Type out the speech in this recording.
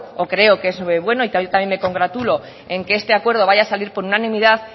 o creo que eso es bueno y que yo también me congratulo en que este acuerdo vaya a salir por unanimidad